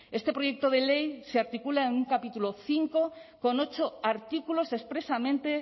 este proyecto de ley se articula en un capítulo cinco con ocho artículos expresamente